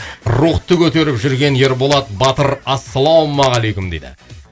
рухты көтеріп жүрген ерболат батыр ассалаумағалейкум дейді